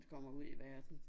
Kommer ud i verden